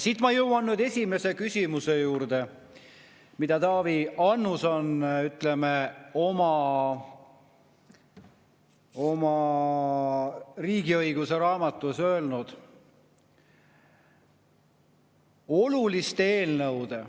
Siit ma jõuan esimese küsimuse juurde, mida Taavi Annus on, ütleme, oma riigiõiguse raamatus öelnud.